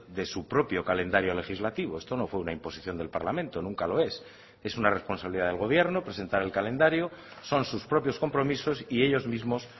de su propio calendario legislativo esto no fue una imposición del parlamento nunca lo es es una responsabilidad del gobierno presentar el calendario son sus propios compromisos y ellos mismos